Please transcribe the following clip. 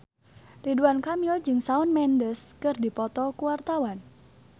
Ridwan Kamil jeung Shawn Mendes keur dipoto ku wartawan